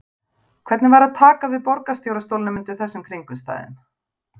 Hvernig var að taka við borgarstjóra stólnum undir þessum kringumstæðum?